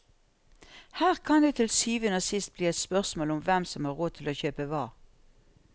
Her kan det til syvende og sist bli et spørsmål om hvem som har råd til å kjøpe hva.